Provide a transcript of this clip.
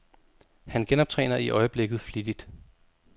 Han genoptræner i øjeblikket flittigt.